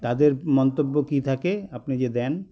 তাদের মন্তব্য কী থাকে আপনি যে দেন